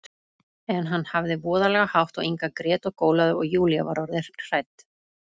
En hann hafði voðalega hátt og Inga grét og gólaði, og Júlía var orðin hrædd.